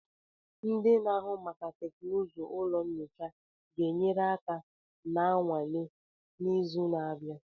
Ndị na-ahụ maka teknụzụ ụlọ nyocha ga-enyere aka na nnwale n'izu na-abịa.